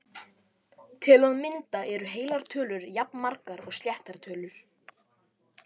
Til að mynda eru heilar tölur jafnmargar og sléttar tölur!